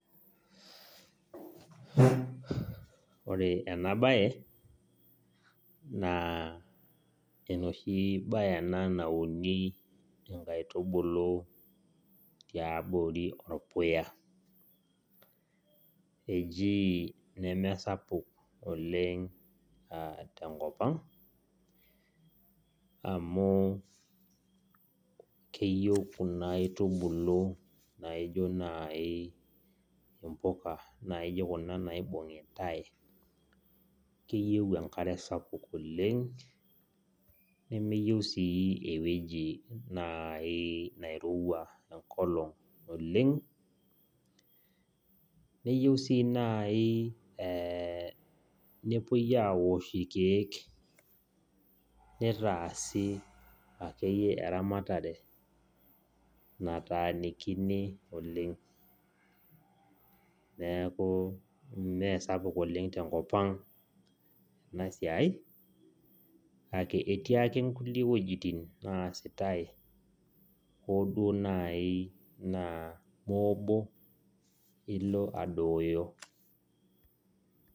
Ore enabae na enoshi bae enabnauni nkaitubulu tiabori orpuya eji nemesapuk oleng tenkopang amu keyie kuna aitubulu naijo nai impuka naijo kuna naibungitae keyieu enkare sapuk oleng nemeyieu ewoji nai nairowua enkolong oleng neyieu si nai nepuoi aosh irkiek netaasi akeeyie eramatare nataakinioleng neaku mesapuk oleng tenkop aang kake etii ake nkulie wuejitin naasitae hoo duo nai na moobo ilo adooyo.